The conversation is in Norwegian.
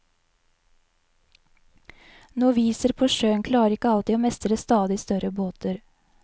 Noviser på sjøen klarer ikke alltid å mestre stadig større båter.